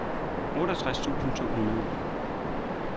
otteogtres tusind to hundrede